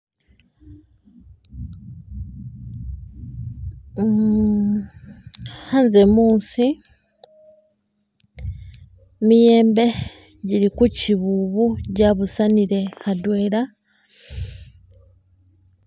Uh khanze muusi, miyembe gili ku chibubu jabusanile atwela.